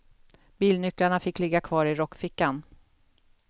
Bilnycklarna fick ligga kvar i rockfickan.